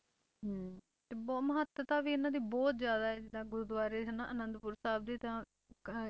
ਤੇ ਬਹੁਤ ਮਹੱਤਤਾ ਵੀ ਇਹਨਾਂ ਦੀ ਬਹੁਤ ਜ਼ਿਆਦਾ ਹੈ, ਜਿੱਦਾਂ ਗੁਰੂਦੁਆਰੇ ਹਨਾ ਆਨੰਦਪੁਰ ਸਾਹਿਬ ਦੇ ਤਾਂ ਅਹ